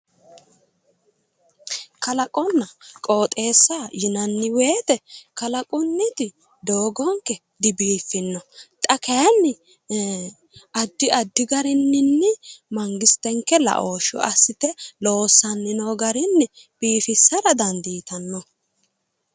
Kalaqonna qooxeessa yinanni woyte kalaqunniti doogonke dibiiffinno xa kaayiinni addi addi garinni mangistenke la"ooshshe assite loossanni noo garinni biifissara dandiittano.